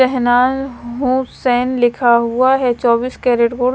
पहनाये होप्स संस लिखा हुआ हैचौबीस कैरट गोल्ड ।